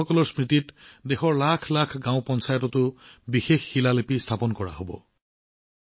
এই ব্যক্তিসকলৰ স্মৃতিত দেশৰ লাখ লাখ গাঁও পঞ্চায়ততো বিশেষ শিলালিপি স্থাপন কৰা হব